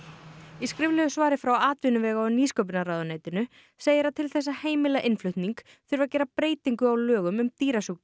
í skriflegu svari frá atvinnuvega og nýsköpunarráðuneytinu segir að til þess að heimila innflutning þurfi að gera breytingu á lögum um dýrasjúkdóma